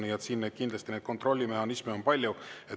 Nii et siin kindlasti kontrollimehhanisme on palju.